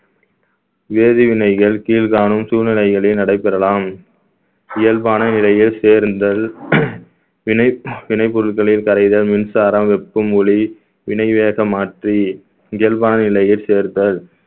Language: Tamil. வேதிவினைகள் கீழ்காணும் சூழ்நிலைகளில் நடைபெறலாம் இயல்பான நிலையில் சேர்ந்தல் வினை வினை பொருட்களில் கரைதல் மின்சாரம் வெப்பமூலி வினைவேகமாற்றி இயல்பான நிலையில் சேர்த்தல்